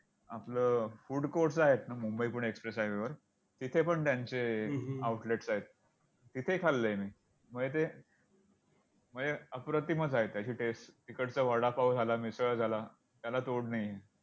आपलं food courts आहेत ना मुंबई पुणे express highway वर तिथे पण त्यांचे outlets आहेत. तिथे खाल्लंय मी म्हणजे ते म्हणजे अप्रतिमच आहे त्याची test तिकडचा वडापाव झाला. मिसळ झाला. त्याला तोड नाही.